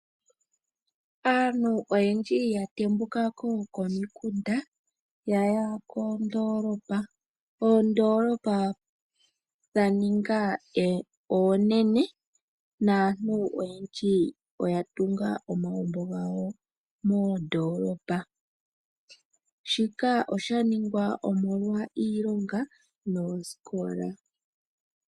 Aantu oyendji yatembuka ko komikunda, yayi koodoolopa. Oodoolopa odhaninga oonene naantu oyendji oyatunga omagumbo gawo moodoolopa, shika oshaningwa omolwa iilonga noosikola.